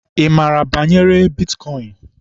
Ị maara banyere bitkọịn?